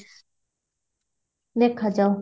ଦେଖା ଯାଉ